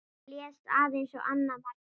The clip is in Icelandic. Blés aðeins á annað markið.